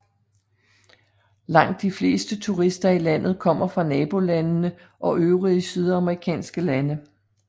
Langt de fleste turister i landet kommer fra nabolandene og øvrige sydamerikanske lande